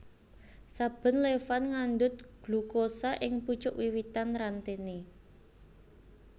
Saben levan ngandhut glukosa ing pucuk wiwitan rantene